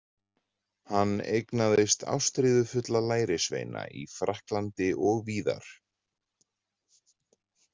Hann eignaðist ástríðufulla lærisveina í Frakklandi og víðar.